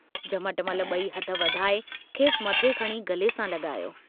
झमटमल बई हथ वधाए खेस मथे खणी गले सां लगायो।